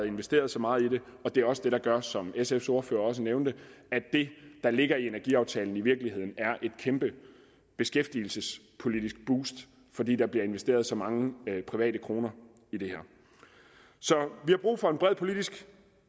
investeret så meget i det og det er også det der gør som sfs ordfører også nævnte at det der ligger i energiaftalen i virkeligheden er et kæmpe beskæftigelsespolitisk boost fordi der bliver investeret så mange private kroner i det her vi har brug for en bred politisk